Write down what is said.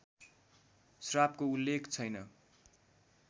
श्रापको उल्लेख छैन